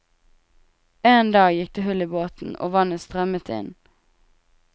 En dag gikk det hull i båten, og vannet strømmet inn.